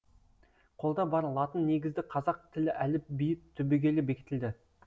қолда бар латын негізді қазақ тілі әліпбиі түбегейлі бекітілді